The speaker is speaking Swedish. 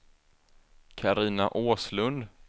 Carina Åslund